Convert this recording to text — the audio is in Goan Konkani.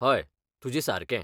हय, तुजें सारके.